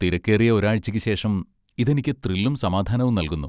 തിരക്കേറിയ ഒരാഴ്ചയ്ക്ക് ശേഷം ഇത് എനിക്ക് ത്രില്ലും സമാധാനവും നൽകുന്നു.